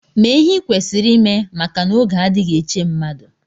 Mee ihe i kwesịrị ime maka n'oge adịghị eche mmadụ!